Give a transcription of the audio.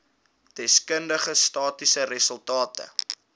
deskundige statistiese resultate